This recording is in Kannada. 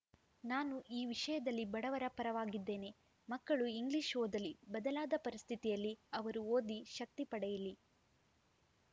ನಾನು ಈ ವಿಷಯದಲ್ಲಿ ಬಡವರ ಪರವಾಗಿದ್ದೇನೆ ಮಕ್ಕಳು ಇಂಗ್ಲಿಷ್‌ ಓದಲಿ ಬದಲಾದ ಪರಿಸ್ಥಿತಿಯಲ್ಲಿ ಅವರು ಓದಿ ಶಕ್ತಿ ಪಡೆಯಿಲಿ